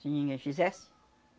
Se ninguém fizesse.